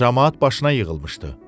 Camaat başına yığılmışdı.